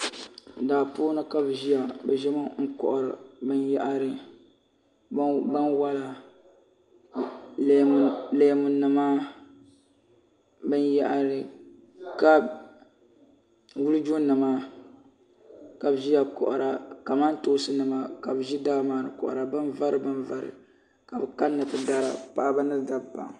Daa puuni ka bi ʒiya bi ʒimi n kɔhiri bin yahiri bin wala leemu nima bin yahiri wulijo nima ka bi ʒiya kɔhira kamantoonsi nima ka bi ʒi daa maa ni n kɔhira bin vari bin vari ka bi kani na ti dara paɣaba ni dabba.